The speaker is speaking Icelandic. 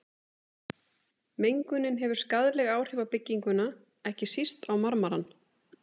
Mengunin hefur skaðleg áhrif á bygginguna, ekki síst á marmarann.